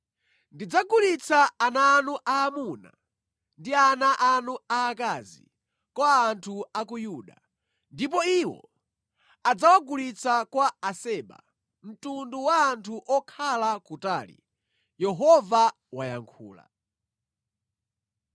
Ndidzagulitsa ana anu aamuna ndi ana anu aakazi kwa anthu a ku Yuda, ndipo iwo adzawagulitsa kwa Aseba, mtundu wa anthu okhala kutali.” Yehova wayankhula.